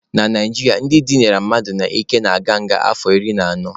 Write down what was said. Na Naijiria, ndị dịnara mmadụ n'ike na-aga nga afọ iri na anọ.